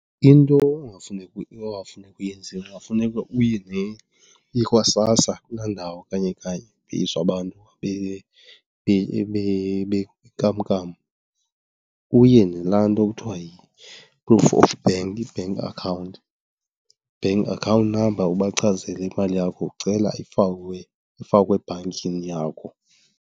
Into ekungafuneka uyenzile kungafuneka uye , uye kwaSASSA kulaa ndawo kanye kanye kupeyiswa abantu benkamnkam. Uye nalaa nto kuthiwa yi-proof of bank, i-bank account, bank account number ubachazele imali yakho ucela ifakwe, ifakwe ebhankini yakho.